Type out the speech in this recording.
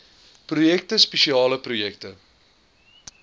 projekte spesiale projekte